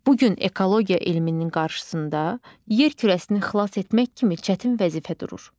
Bu gün ekologiya elminin qarşısında yer kürəsini xilas etmək kimi çətin vəzifə durur.